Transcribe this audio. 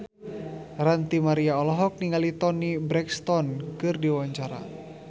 Ranty Maria olohok ningali Toni Brexton keur diwawancara